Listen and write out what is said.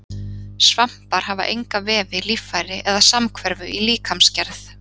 Svampar hafa enga vefi, líffæri eða samhverfu í líkamsgerð.